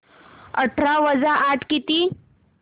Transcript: अठरा वजा आठ किती